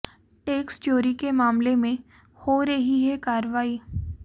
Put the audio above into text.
tax चोरी के मामले में हो रही है कार्रवाई